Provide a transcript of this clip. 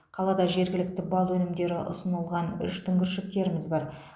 қалада жергілікті бал өнімдері ұсынылған үш дүңгіршектеріміз бар